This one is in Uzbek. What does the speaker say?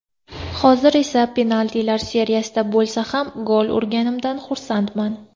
Hozir esa penaltilar seriyasida bo‘lsa ham gol urganimdan xursandman.